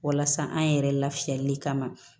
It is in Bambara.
Walasa an yɛrɛ lafiyali kama